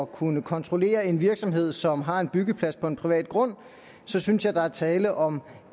kunne kontrollere en virksomhed som har en byggeplads på en privat grund synes jeg der er tale om